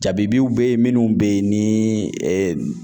Jabibiw be ye minnu be ye nii